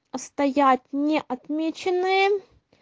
а стоят не отмеченные